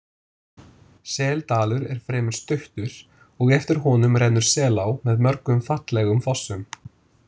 Seldalur er fremur stuttur og eftir honum rennur Selá með mörgum fallegum fossum.